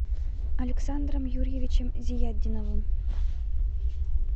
александром юрьевичем зиятдиновым